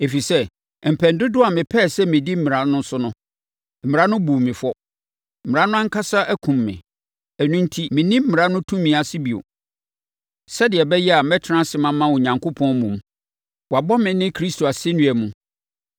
“Ɛfiri sɛ, mpɛn dodoɔ a mepɛɛ sɛ mɛdi mmara no so no, mmara no buu me fɔ. Mmara no ankasa akum me. Ɛno enti, menni mmara no tumi ase bio, sɛdeɛ ɛbɛyɛ a, mɛtena ase mama Onyankopɔn mmom. Wɔabɔ me ne Kristo asɛnnua mu,